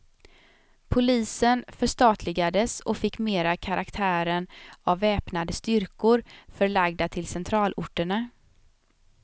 Polisen förstatligades och fick mera karaktären av väpnade styrkor förlagda till centralorterna.